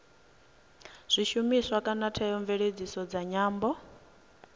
zwishumiswa kana theomveledziso dza nyambo